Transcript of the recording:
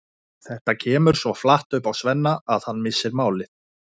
Þetta kemur svo flatt upp á Svenna að hann missir málið.